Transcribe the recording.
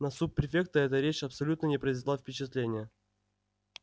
на суб-префекта эта речь абсолютно не произвела впечатления